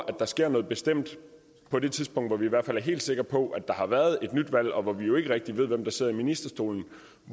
at der sker noget bestemt på det tidspunkt hvor vi i hvert fald er helt sikre på at der har været et valg og hvor vi jo ikke rigtig ved hvem der sidder i ministerstolen